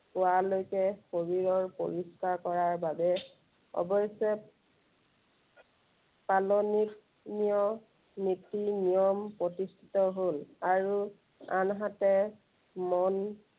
পোৱালৈকে শৰীৰৰ পৰিস্কাৰ কৰাৰ বাবে অৱশ্য়ে পালনীত~নীয় নীতি নিময় প্ৰতিষ্ঠিত হ'ল। আৰু আনহাতে মন